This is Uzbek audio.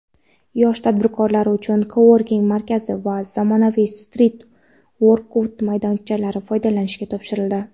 yosh tadbirkorlar uchun "Coworking" markazi va zamonaviy "Street workout"maydonchasi foydalanishga topshirildi.